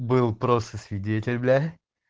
был просто свидетель бля